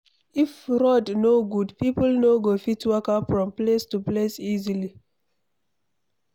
If road no good, people no go fit waka from place to place easily